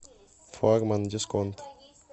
флагман дисконт